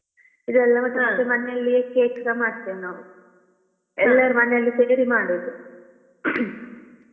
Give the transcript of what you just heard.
ಇದೆಲ್ಲ ಮತ್ತೆ ಮನೇಲಿ cake ಸ ಮಾಡ್ತೇವೆ ನಾವ್ ಎಲ್ಲರೂ ಮನೆಯಲ್ಲಿ ಸೇರಿ ಮಾಡುದು.